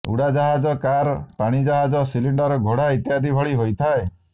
ଉଡ଼ାଜାହାଜ କାର ପାଣିଜାହାଜ ସିଲିଣ୍ଡର ଘୋଡ଼ା ଇତ୍ୟାଦି ଭଳି ହୋଇଥାଏ